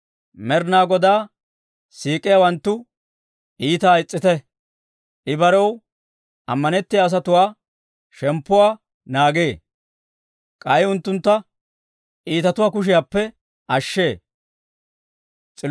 Med'inaa Godaa siik'iyaawanttu iitaa is's'ite. I barew amanetiyaa asatuwaa shemppuwaa naagee; k'ay unttuntta iitatuwaa kushiyaappe ashshee.